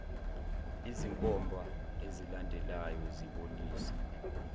izinkomba ezilandelayo zibonisa